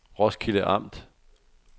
Roskilde Amt